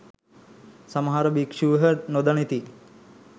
සමහර භික්‍ෂූහ නොදනිති.